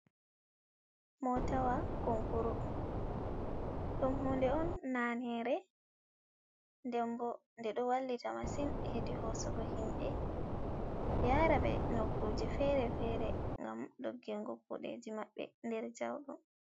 Motawa konkuru dom hunde on nanere. Ɗembo ɗe do wallita masin hedi hosugo himbe yara be nokkuje fere-fere. Gam dogingo kudeji mabbe der jauɗum.